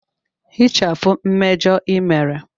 Hichapụ mmejọ ị mere!